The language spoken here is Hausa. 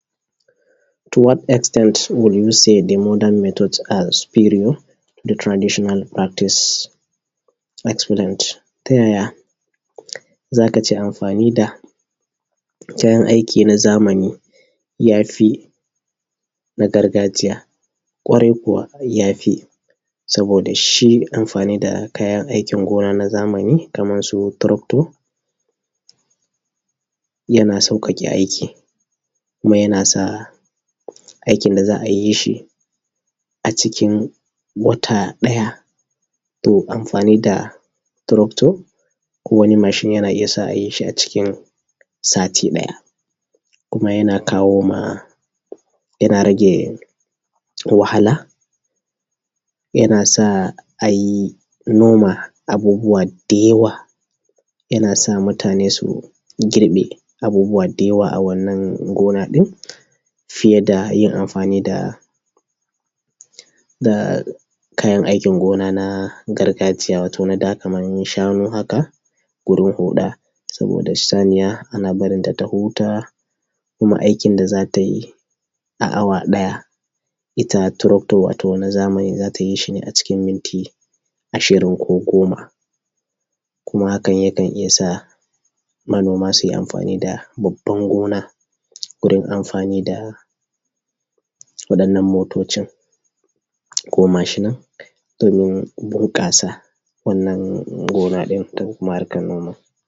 To what extent will you say the modern method are superior, the traditional practice excellent? Ta yaya za ka ce amfani da kayan aiki na zamani ya fi na gargajiya? Ƙwarai kuwa ya fi, saboda shi amfani da kayan aikin gona na zamani kamar su tractor, yana sauƙaƙe aiki, kuma yana sa aikin da za a yi shi a cikin wata ɗaya, to amfani da tractor ko wani machine yana iya sa a yi shi a cikin sati ɗaya. Kuma yana kawo ma, rage wahala, yana sa a noma abubuwa da yawa, yana sa mutane su girbe abubuwa da yawa a wannan gona ɗin, fiye da yin amfani da, da kayan aikin gona na gargajiya wato na da kamar shanu haka gurin huɗa, saboda Saniya ana barinta ta huta, kuma aikin da za ta yi a awa ɗaya, ita tractor, wato na zamani za ta yi shi ne acikin minti ashirin ko goma. Kuma hakan yakan iya sa manoma su yi amfani da babban gona wurin amfani da waɗannan motocin ko mashinan domin bunƙasa wannan gona ɗin da kuma harkar noma.